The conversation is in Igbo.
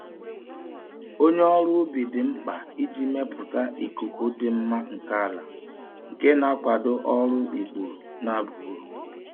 Onye ọrụ ubi dị mkpa iji mepụta ikuku dị mma nke ala, nke na-akwado ọrụ ikpuru na-aba uru.